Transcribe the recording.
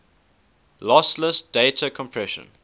lossless data compression